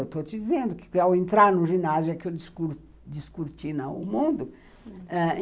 Estou dizendo que, ao entrar no ginásio, é que eu descortina o mundo.